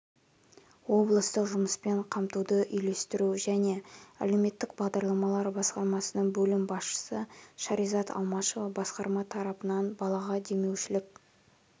облыстық жұмыспен қамтуды үйлестіру және әлеуметтік бағдарламалар басқармасының бөлім басшысы шаризат алмашова басқарма тарапынан балаға демеушілік